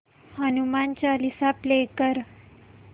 Hanuman Chalisa play कर